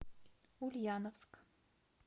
ульяновск